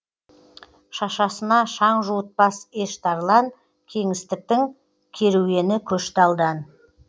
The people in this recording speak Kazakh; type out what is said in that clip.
шашасына шаң жуытпас еш тарлан кеңістіктің керуені көшті алдан